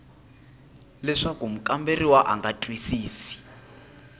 leswaku mukamberiwa a nga twisisi